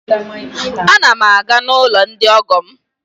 A na m na-aga n'ụlọ ndi ọgọ m